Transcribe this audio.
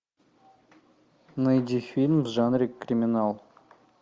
найди фильм в жанре криминал